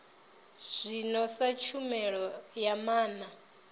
zwino sa tshumelo ya maana